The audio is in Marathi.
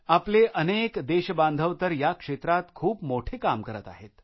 आपले अनके देशबांधव तर या क्षेत्रात खूप मोठे काम करत आहेत